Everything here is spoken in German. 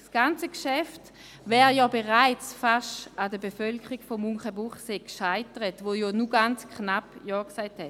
Das ganze Geschäft wäre nämlich schon fast an der Bevölkerung von Münchenbuchsee gescheitert, die ja nur ganz knapp zugestimmt hat.